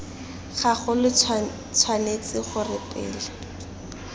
gago lo tshwanetse gore pele